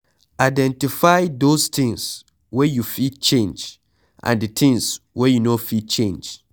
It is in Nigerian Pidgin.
Identify those things wey you fit change and di things wey you no fit change